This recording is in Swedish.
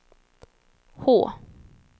H